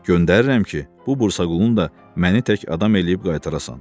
Göndərirəm ki, bu Bursaqulun da məni tək adam eləyib qaytarasan.